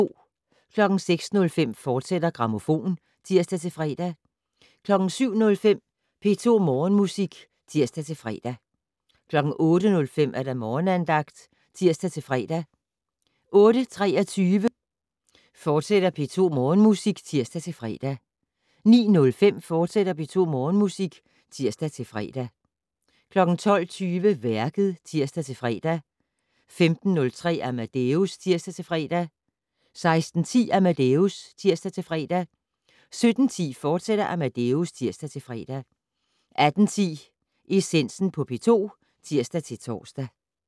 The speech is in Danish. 06:05: Grammofon, fortsat (tir-fre) 07:05: P2 Morgenmusik (tir-fre) 08:05: Morgenandagten (tir-fre) 08:23: P2 Morgenmusik, fortsat (tir-fre) 09:05: P2 Morgenmusik, fortsat (tir-fre) 12:20: Værket (tir-fre) 15:03: Amadeus (tir-fre) 16:10: Amadeus (tir-fre) 17:10: Amadeus, fortsat (tir-fre) 18:10: Essensen på P2 (tir-tor)